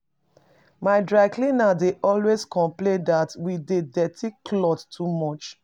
My dry cleaner dey always complain that we dey dirty clothes too much